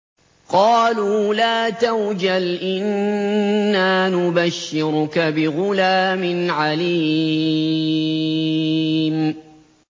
قَالُوا لَا تَوْجَلْ إِنَّا نُبَشِّرُكَ بِغُلَامٍ عَلِيمٍ